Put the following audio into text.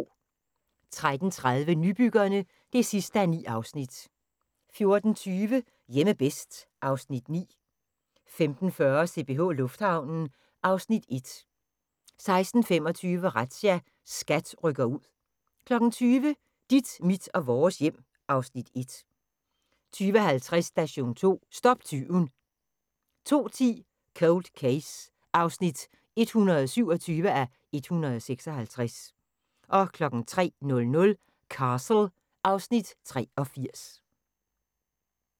13:30: Nybyggerne (9:9) 14:20: Hjemme bedst (Afs. 9) 15:40: CPH Lufthavnen (Afs. 1) 16:25: Razzia – SKAT rykker ud 20:00: Dit, mit og vores hjem (Afs. 1) 20:50: Station 2: Stop tyven 02:10: Cold Case (127:156) 03:00: Castle (Afs. 83)